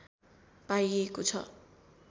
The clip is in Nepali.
पाइएको छ